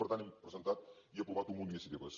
i per tant hem presentat i aprovat un munt d’iniciatives